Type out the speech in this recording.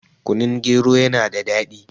kunun gero yana da daɗi